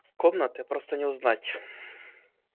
комнаты просто не узнать